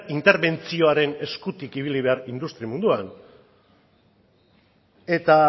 interbentzioaren eskutik ibili behar industria munduan eta